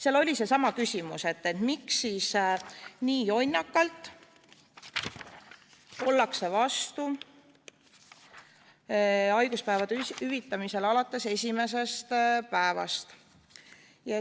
Seal oli seesama küsimus, et miks nii jonnakalt ollakse vastu haiguspäevade hüvitamisele alates esimesest päevast.